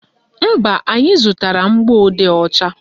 Mba, anyị zụtara mgbọodee ọcha